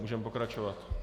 Můžeme pokračovat.